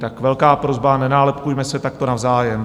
Tak velká prosba - nenálepkujme se takto navzájem.